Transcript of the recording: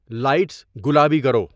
lights گلابی کرو